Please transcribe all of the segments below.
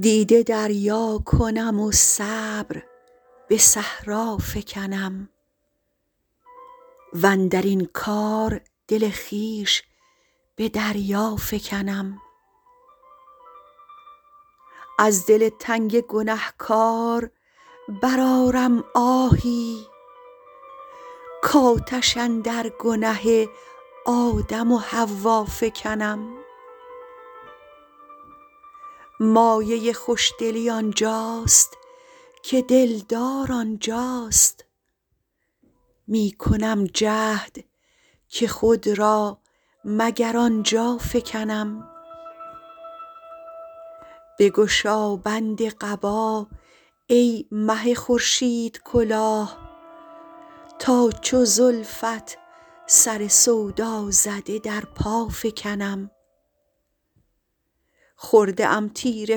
دیده دریا کنم و صبر به صحرا فکنم واندر این کار دل خویش به دریا فکنم از دل تنگ گنه کار برآرم آهی کآتش اندر گنه آدم و حوا فکنم مایه خوش دلی آن جاست که دل دار آن جاست می کنم جهد که خود را مگر آن جا فکنم بگشا بند قبا ای مه خورشیدکلاه تا چو زلفت سر سودا زده در پا فکنم خورده ام تیر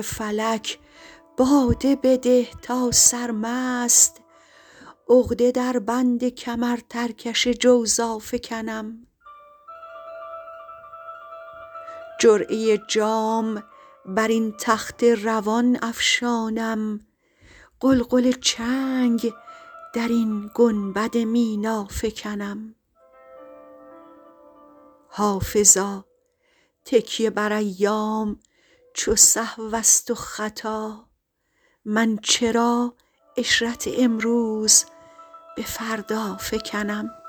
فلک باده بده تا سرمست عقده در بند کمرترکش جوزا فکنم جرعه جام بر این تخت روان افشانم غلغل چنگ در این گنبد مینا فکنم حافظا تکیه بر ایام چو سهو است و خطا من چرا عشرت امروز به فردا فکنم